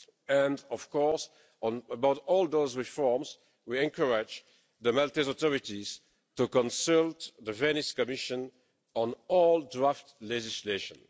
And, of course, about all those reforms we encourage the Maltese authorities to consult the Venice Commission on all draft legislation.